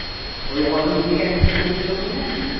ওই অটো একটা ছেলে টুকছিল মনে আছে?